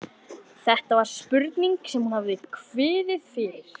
Þetta var spurningin sem hún hafði kviðið fyrir.